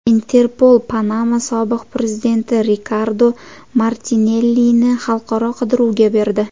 Interpol Panama sobiq prezidenti Rikardo Martinellini xalqaro qidiruvga berdi.